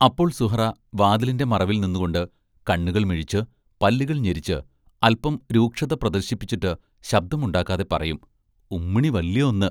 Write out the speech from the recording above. അപ്പോൾ സുഹ്റാ വാതിലിന്റെ മറവിൽ നിന്നുകൊണ്ട് കണ്ണുകൾ മിഴിച്ച്, പല്ലുകൾ ഞെരിച്ച്, അല്പം രൂക്ഷത പ്രദർശിപ്പിച്ചിട്ട് ശബ്ദമുണ്ടാക്കാതെ പറയും: ഉമ്മിണി വല്യ ഒന്ന്